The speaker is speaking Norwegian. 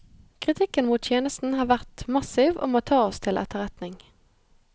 Kritikken mot tjenesten har vært massiv og må tas til etterretning.